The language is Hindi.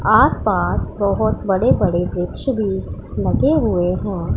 आसपास बहुत बड़े बड़े वृक्ष भी लगे हुए हैं।